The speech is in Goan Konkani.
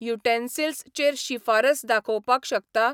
युटेन्सिल्स चेर शिफारस दाखोवपाक शकता?